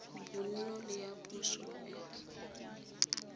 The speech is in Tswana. bonno le ya poso le